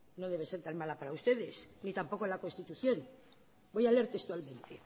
ni tampoco la constitución voy a leer textualmente